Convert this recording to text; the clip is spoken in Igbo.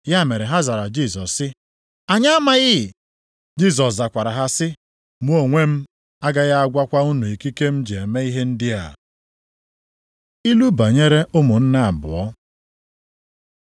Ya mere ha zara Jisọs sị ya: “Anyị amaghị.” Jisọs zakwara ha sị, “Mụ onwe m agaghị agwakwa unu ikike m ji na-eme ihe ndị a. Ilu banyere ụmụnne abụọ